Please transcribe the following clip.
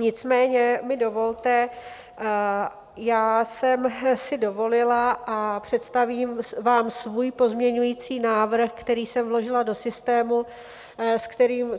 Nicméně mi dovolte, já jsem si dovolila a představím vám svůj pozměňující návrh, který jsem vložila do systému,